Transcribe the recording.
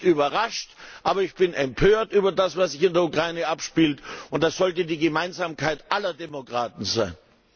Ich bin nicht überrascht, aber ich bin empört über das, was sich in der Ukraine abspielt, und das sollte die Gemeinsamkeit aller Demokraten sein.